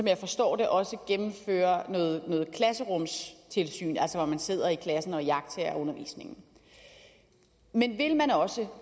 jeg forstår det også gennemføre noget klasserumstilsyn altså hvor man sidder i klassen og iagttager undervisningen men vil man også